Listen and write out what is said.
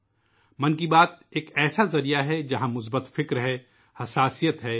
'' من کی بات '' ایک ایسا ذریعہ ہے ، جہاں مثبت انداز اور حساسیت پائی جاتی ہے